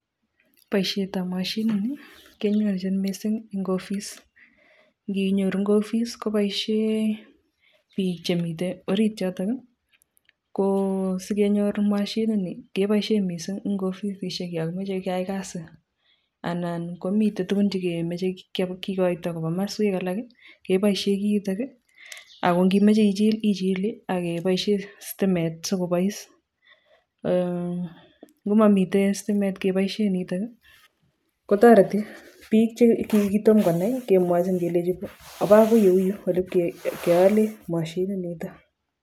Boisietab moshinini kenyorchin mising eng office nginyoru en office koboisie biik chemiten orit yoto. Ko sikenyor moshinini keboisien mising en ofisishek yon kimoche keyai kasi anan komiten tugun che kemoche kigoito koba komoswek alak keboisien kiy itok. Ago ngimoche ichil ichile ak iboisien sitimet sikobois. Ngo momiten sitimet ngeboisien nito kotoreti biik che kitom konai kemwochi kelechi oba agou ole u ibkeale mashininito.